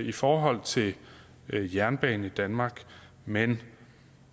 i forhold til jernbane i danmark men